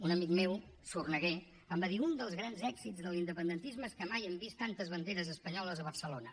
un amic meu sorneguer em va dir un dels grans èxits de l’independentisme és que mai hem vist tantes banderes espanyoles a barcelona